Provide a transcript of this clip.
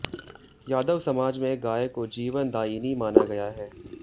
यादव समाज में गाय को जीवनदायिनी माना गया है